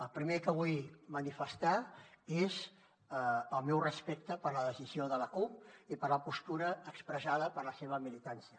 el primer que vull manifestar és el meu respecte per la decisió de la cup i per la postura expressada per la seva militància